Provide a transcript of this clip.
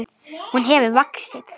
Hún hefur vaxið.